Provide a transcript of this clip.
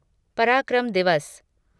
पराक्रम दिवस